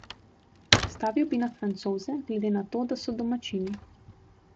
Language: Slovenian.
Stavil bi na Francoze, glede na to, da so domačini.